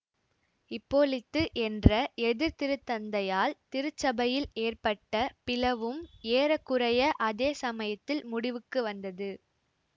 இப்போலித்து என்ற எதிர்திருத்தந்தையால் திருச்சபையில் ஏற்பட்ட பிளவும் ஏற குறைய அதே சமயத்தில் முடிவுக்கு வந்தது